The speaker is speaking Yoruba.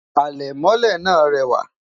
alè mọlé nà rewa